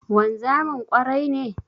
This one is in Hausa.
Wanzamin ƙwarai ne?